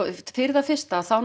fyrir það fyrsta þá